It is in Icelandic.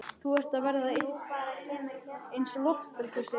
Þú ert að verða eins og loftbelgur, segir hún.